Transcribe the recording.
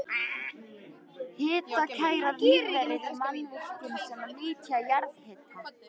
Hitakærar lífverur í mannvirkjum sem nýta jarðhita